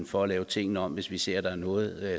for at lave tingene om hvis vi ser noget